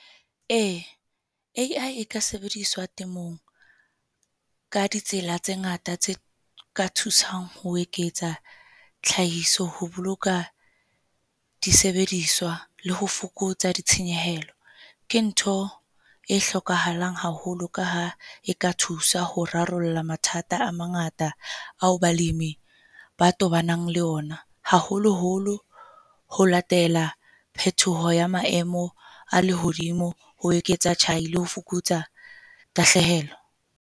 Ee A_I e ka sebediswa temong, ka ditsela tse ngata tse ka thusang ho eketsa tlhahiso, ho boloka disebediswa le ho fokotsa ditshenyehelo. Ke ntho e hlokahalang haholo ka ha e ka thusa ho rarolla mathata a mangata ao balemi ba tobanang le ona, haholoholo ho latela phethoho ya maemo a lehodimo. Ho eketsa tjhai le ho fokotsa tahlehelo.